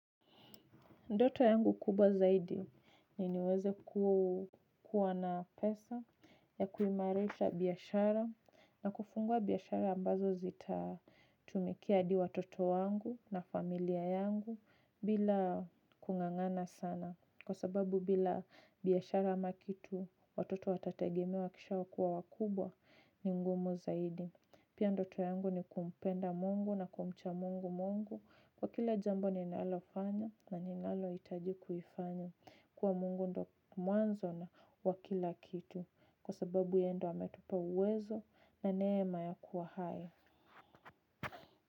Ndoto yangu kubwa zaidi ni niweze kuwa na pesa ya kuimarisha biashara na kufungua biashara ambazo zita tumikia hadi watoto wangu na familia yangu bila kung'ang'ana sana. Kwa sababu bila biashara ama kitu watoto watategemewa wa kisha kuwa wakubwa ni ngumu zaidi. Pia ndoto yangu ni kumpenda mungu na kumcha mungu mungu, kwa kila jambo ninalofanya na ninaloitajikuifanyo, kuwa mungu ndo mwanzo na wakila kitu, kwa sababu yeye ndo ametupa uwezo na neema ya kuwa hai.